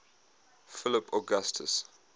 philip augustus